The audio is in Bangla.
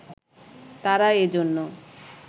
তারা এজন্য